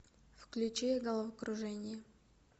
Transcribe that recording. включи головокружение